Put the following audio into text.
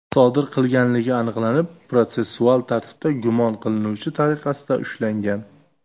sodir qilganligi aniqlanib, protsessual tartibda gumon qilinuvchi tariqasida ushlangan.